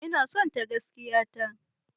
Ina sonta gaskiya ta.